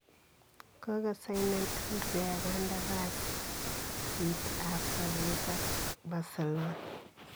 Kogosainen Andrea kandarasiit ab sobeet ak Barcelona.